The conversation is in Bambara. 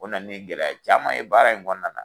O nana ni gɛlɛya caman ye baara in kɔnɔna na.